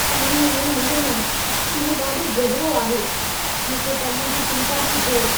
पाणीअ में न वञो। इहो ॾाढो गहरो आहे! मूंखे तव्हां जी चिंता थी थिए।